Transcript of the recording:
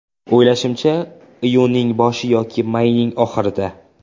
O‘ylashimacha, iyunning boshi yoki mayning oxirida.